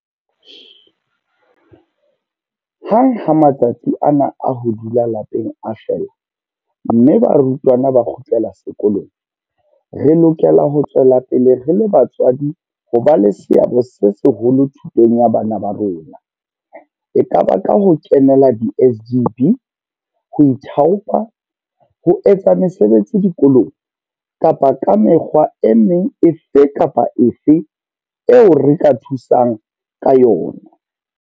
Hang ha matsatsi ana a ho dula lapeng a fela mme barutwana ba kgutlela sekolong, re lokela ho tswela pele re le batswadi ho ba le seabo se seholo thutong ya bana ba rona, ekaba ka ho kenela di-SGB, ho ithaopa ho etsa mesebetsi dikolong kapa ka mekgwa e meng efe kapa efe eo re ka thusang ka yona.